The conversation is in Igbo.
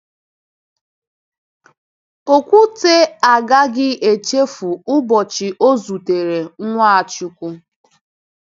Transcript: Ọkwute agaghị echefu ụbọchị ọ zutere Nwachukwu.